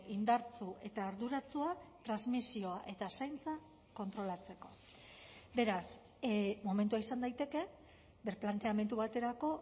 indartsu eta arduratsua transmisioa eta zaintza kontrolatzeko beraz momentua izan daiteke birplanteamendu baterako